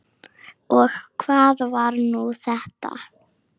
Og hvað var nú þetta!